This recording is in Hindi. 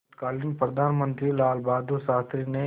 तत्कालीन प्रधानमंत्री लालबहादुर शास्त्री ने